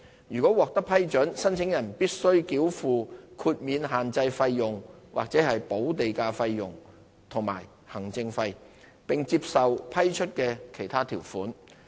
如獲批准，申請人須繳付豁免限制費用/補地價費用和行政費，並接受批出的其他條款。